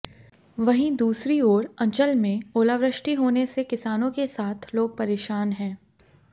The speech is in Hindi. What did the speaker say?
वहीं दूसरी ओर अंचल में ओलावृष्टि होने से किसानों के साथ लोग परेशान हैं